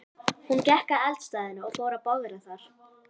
Hún gekk að eldstæðinu og fór að bogra þar.